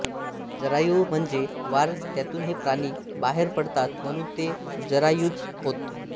जरायु म्हणजे वार त्यातून हे प्राणी बाहेर पडतात म्हणून ते जरायुज होत